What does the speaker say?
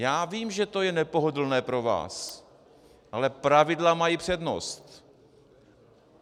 Já vím, že to je nepohodlné pro vás, ale pravidla mají přednost.